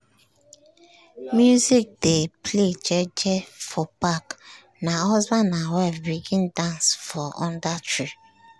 small small pikin dem make circle dey dance as dey like for breaktime for school.